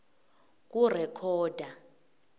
kurekhoda